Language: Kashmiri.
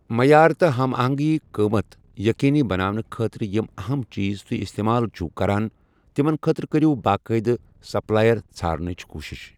معیار تہٕ ہم آہنٛگی قٕمَت یقینی بناونہٕ خٲطرٕ یِم اَہَم چیٖز تُہۍ استعمال چھِو کران تِمَن خٲطرٕ کٔرِو باقاعدٕ سپلائر ژھارنٕچ کوٗشِش۔